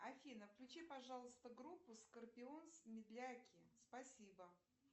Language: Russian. афина включи пожалуйста группу скорпионс медляки спасибо